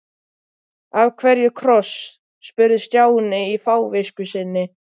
Af hverju kross? spurði Stjáni í fávisku sinni.